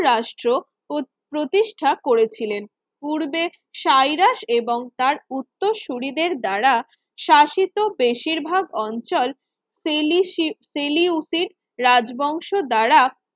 রাষ্ট্র প্রতিষ্ঠা করেছিলেন পূর্বে সাইরাস এবং তার উত্তর সূরীদের দ্বারা শাসিত বেশিরভাগ অঞ্চল পেলিসি পেলিউসির রাজবংশ দ্বারা